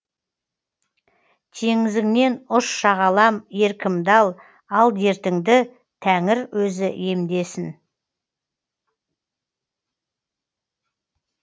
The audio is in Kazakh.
теңізіңнен ұш шағалам еркімді ал ал дертіңді тәңір өзі емдесін